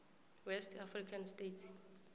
west african states